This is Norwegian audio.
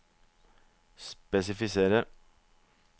spesifisere